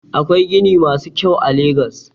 Akwai gini masu kyau a legas.